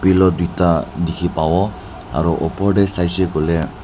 pillow duita dikhi pabo aro opor de saishe koile.